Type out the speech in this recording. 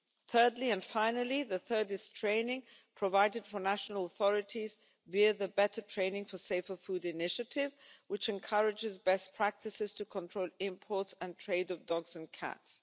Thirdly, and finally training provided for national authorities via the Better Training for Safer Food initiative, which encourages best practices to control imports and trade of dogs and